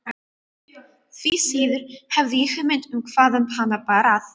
Því síður hafði ég hugmynd um hvaðan hana bar að.